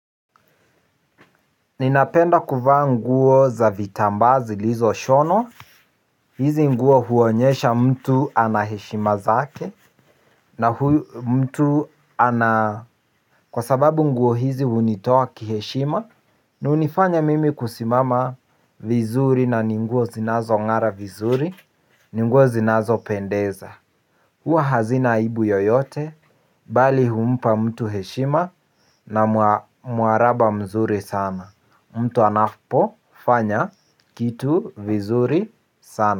Ninapenda kuvaa nguo za vitambaa zilizoshonwa. Hizi nguo huonyesha mtu ana heshima zake. Na huyu mtu ana kwa sababu nguo hizi hunitoa kiheshima. Na hunifanya mimi kusimama vizuri na nguo zinazong'ara vizuri ni nguo zinazopendeza. Huwa hazina aibu yoyote. Bali humpa mtu heshima. Na muaraba mzuri sana. Mtu anapofanya kitu vizuri sana.